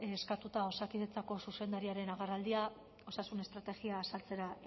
eskatuta osakidetzako zuzendariaren agerraldia osasun estrategia azaltzera